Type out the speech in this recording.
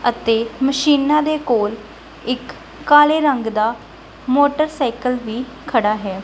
ਅਤੇ ਮਸ਼ੀਨਾਂ ਦੇ ਕੋਲ ਇੱਕ ਕਾਲੇ ਰੰਗ ਦਾ ਮੋਟਰਸਾਈਕਲ ਵੀ ਖੜਾ ਹੈ।